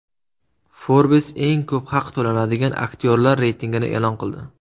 Forbes eng ko‘p haq to‘lanadigan aktyorlar reytingini e’lon qildi.